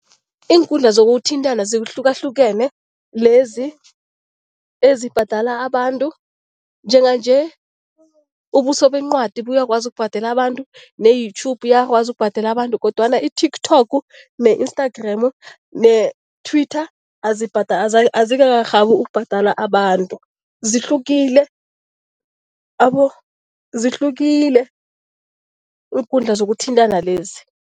Iinkundla zokuthintana zihlukahlukene lezi ezibhadala abantu. Njenganje ubuso bencwadi buyakwazi ukubhadela abantu, ne-YouTube iyakwazi ukubhadela abantu kodwana i-TikTok ne-Instagram ne-Twitter azikakarhabi ukubhadala abantu. Zihlukile zihlukile iinkundla zokuthintana lezi.